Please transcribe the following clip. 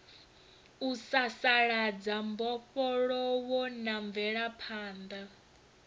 u sasaladza mbofholowo na mvelaphanḓa